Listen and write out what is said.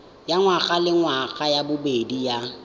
ya ngwagalengwaga ya bobedi ya